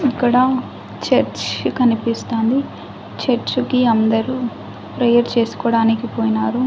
ఇక్కడ చర్చ్ కనిపిస్తోంది చర్చికి అందరూ ప్రేయర్ చేసుకోవడానికి పోయినారు.